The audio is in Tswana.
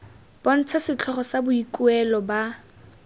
bontsha setlhogo sa boikuelo ba